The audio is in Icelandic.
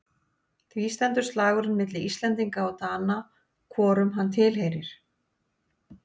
Því stendur slagurinn milli Íslendinga og Dana hvorum hann tilheyrir.